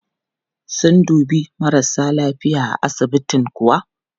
Sun dubi marasa lafiya a asibitin kuwa?